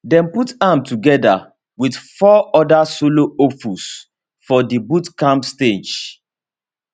dem put am together with four other solo hopefuls for di boot camp stage